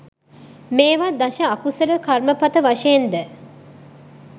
මේවා දශ අකුසල කර්මපථ වශයෙන්ද